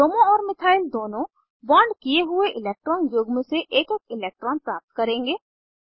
bromo और methyl दोनों bond किये हुए इलेक्ट्रॉन युग्म से एक एक इलेक्ट्रान प्राप्त करेंगे